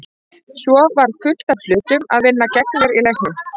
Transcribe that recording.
Svo var fullt af hlutum að vinna gegn mér í leiknum.